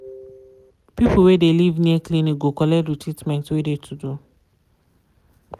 people wey de live near clinic go collect de treatment wey de to do.